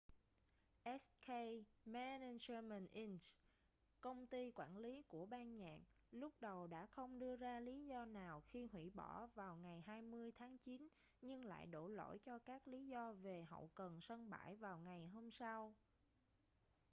hk management inc công ty quản lý của ban nhạc lúc đầu đã không đưa ra lý do nào khi hủy bỏ vào ngày 20 tháng chín nhưng lại đổ lỗi cho các lý do về hậu cần sân bãi vào ngày hôm sau